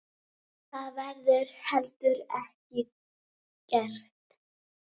Það verður heldur ekki gert.